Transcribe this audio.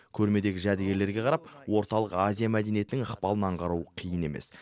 көрмедегі жәдігерлеге қарап орталық азия мәдениетінің ықпалын аңғару қиын емес